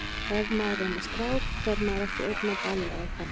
Ef maður er með strák fer maður ekki einn á ball, eða hvað?